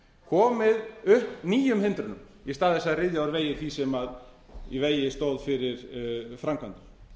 þveröfugt komið upp nýjum hindrunum í stað þess að ryðja úr vegi því sem í vegi stór fyrir framkvæmdum